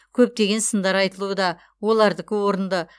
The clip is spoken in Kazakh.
көптеген сындар айтылуда олардікі орынды